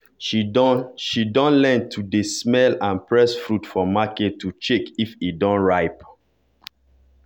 she dun she dun learn to dey smell and press fruit for market to check if e don ripe.